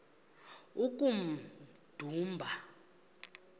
kummdumba